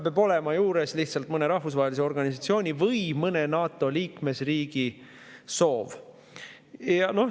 Peab olema lihtsalt mõne rahvusvahelise organisatsiooni või mõne NATO liikmesriigi soov.